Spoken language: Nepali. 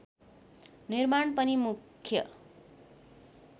निर्माण पनि मुख्य